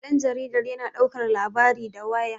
danjaridar yana daukar labari da waya